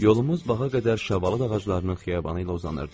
Yolumuz bağa qədər şabalıd ağaclarının xiyabanı ilə uzanırdı.